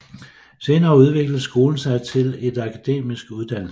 Senere udviklede skolen sig til et akademisk uddannelsessted